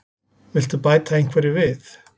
Viltu bæta einhverju við?